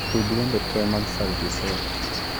Tug wende te mag sauti sol